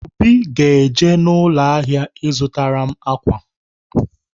Obi ga-eje n'ụlọ ahịa ịzụtara m ákwà.